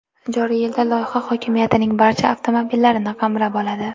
Joriy yilda loyiha hokimiyatning barcha avtomobillarini qamrab oladi.